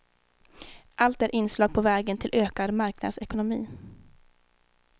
Allt är inslag på vägen till ökad marknadsekonomi.